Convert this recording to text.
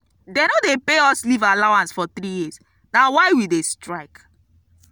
dey no pay us leave allowance for three years na why we dey strike.